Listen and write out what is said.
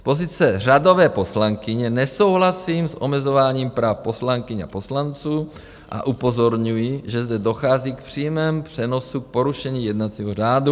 Z pozice řadové poslankyně nesouhlasím s omezováním práv poslankyň a poslanců a upozorňuji, že zde dochází v přímém přenosu k porušení jednacího řádu.